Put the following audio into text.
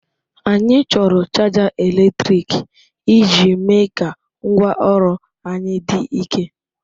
Anyị chọrọ chaja eletrik iji mee ka ngwaọrụ anyị dị ike.